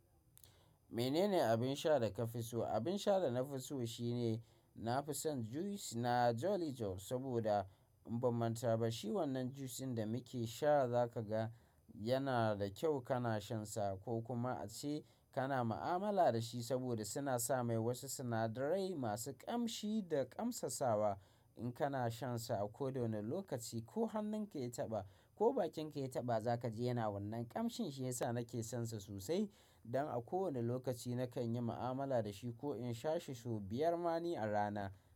Menene abin sha da ka fi so? Abin sha da na fi so shine nafi son juice na Jolly Juice saboda in ba manta ba shi wanan juice ɗin da muke sha za ka ga yana da kyau kana shansa ko kuma ace kana ma'amala da shi saboda suna sa mai wasu sinadarai masu ƙamshi da ƙamsasawa. In kana shansa a kodawane lokaci ko hannun kaya taɓa ko bakin kaya taɓa za ka ji yana wannan ƙamshin shi ya sa nake sonsa sosai don a kowane lokaci nakan yi ma'amala da shi ko in sha shi sau biyar mane a rana.